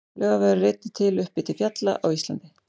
Laugavegur er einnig til uppi til fjalla á Íslandi.